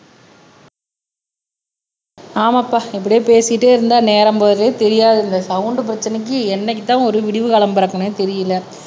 ஆமாப்பா இப்படியே பேசிட்டே இருந்தா நேரம் போறதே தெரியாது இந்த சவுண்ட் பிரச்சனைக்கு என்னைக்குத்தான் ஒரு விடிவு காலம் பிறக்கும்னே தெரியலே